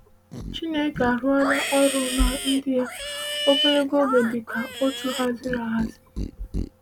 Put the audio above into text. “Chineke arụla ọrụ na ndị ya ogologo oge dị ka otu haziri ahazi.”